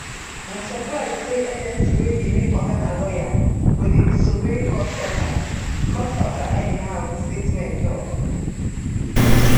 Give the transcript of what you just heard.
na surprise say agency wey di main oga na lawyer go dey disobey court order court order anyhow di statement tok